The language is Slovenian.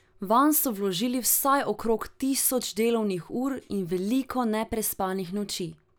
Vanj so vložili vsaj okrog tisoč delovnih ur in veliko neprespanih noči.